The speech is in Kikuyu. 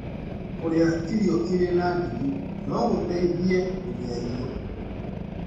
Kũrĩa irio irĩ na ndigi no gũteithie gũthĩya irio.